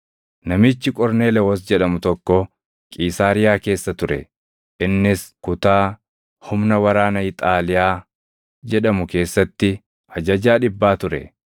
Namichi Qorneelewoos jedhamu tokko Qiisaariyaa keessa ture; innis kutaa, “Humna waraana Iixaaliyaa” jedhamu keessatti ajajaa dhibbaa ture.